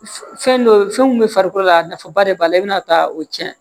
Fɛn dɔ fɛn mun bɛ farikolo la nafaba de b'a la i bɛna taa o cɛn